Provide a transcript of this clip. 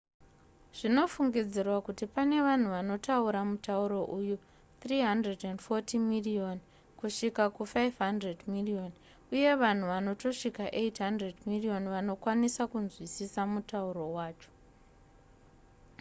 zvinofungidzirwa kuti pane vanhu vanotaura mutauro uyu 340 miriyoni kusvika ku500 miriyoni uye vanhu vanotosvika 800 miriyoni vanokwanisa kunzwisisa mutauro wacho